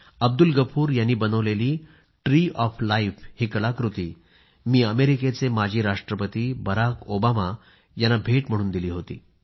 अब्दुल गफूर यांनी बनवलेली tree of life ही कलाकृती मी अमेरिकेचे माजी राष्ट्रपती बराक ओबामा यांना भेट म्हणून दिली होती